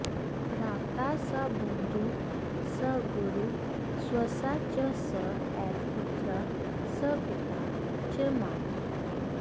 भ्राता स बन्धुः स गुरुः स्वसा च स एव पुत्रः स पिता च माता